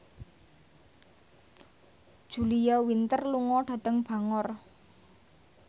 Julia Winter lunga dhateng Bangor